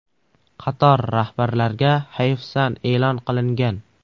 Qator rahbarlarga hayfsan e’lon qilingan.